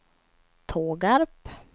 Tågarp